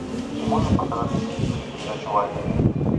ты можешь показать на телевизоре передачу лайф